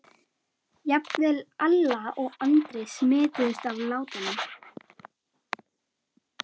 Jafnvel Alla og Andri smituðust af látunum.